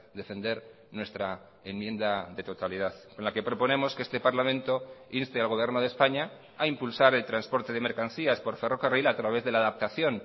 defender nuestra enmienda de totalidad en la que proponemos que este parlamento inste al gobierno de españa a impulsar el transporte de mercancías por ferrocarril a través de la adaptación